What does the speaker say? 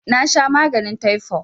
Nasha maganin taifo